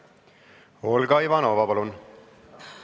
Olga Ivanova, palun!